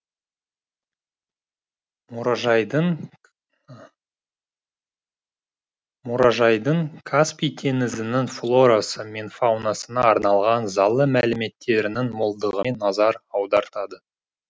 мұражайдың мұражайдың каспий теңізінің флорасы мен фаунасына арналған залы мәліметтерінің молдығымен назар аудартады